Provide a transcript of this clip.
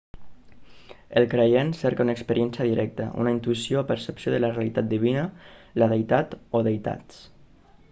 el creient cerca una experiència directa una intuïció o percepció de la realitat divina/la deïtat o deïtats